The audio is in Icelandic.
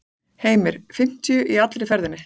Heimir: Fimmtíu í allri ferðinni?